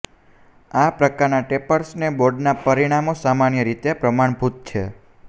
આ પ્રકારના ટેરેપર્સ બોર્ડના પરિમાણો સામાન્ય રીતે પ્રમાણભૂત છે